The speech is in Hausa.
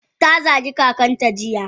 Ta zagi kakanta jiya.